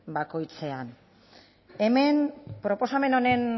bakoitzean hemen proposamen honen